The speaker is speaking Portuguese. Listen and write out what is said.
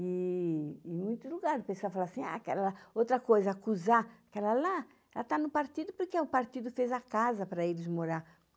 E e em muitos lugares, o pessoal fala assim, ah, aquela, outra coisa, acusar aquela lá, ela tá no partido porque o partido fez a casa para eles morar